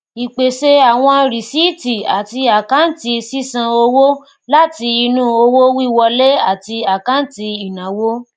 ípèsè àwọn rìsíìtì àti àkáǹtì sísan owó láti inú owó wíwọlé àti àkáǹtì ìnáwó